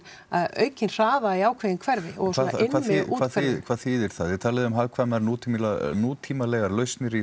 aukinn hraða í ákveðin hverfi hvað þýðir það þið talið um hagkvæmar nútímalegar nútímalegar lausnir í